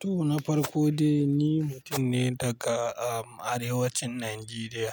To na farko dai ni mutum ne daga, um, Arewacin Najeriya.